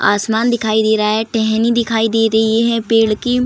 आसमान दिखाई दे रहा है टेहनी दिखाई दे रही है पेड़ की।